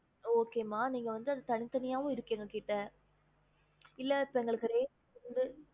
எப்படி இருக்கணும் mam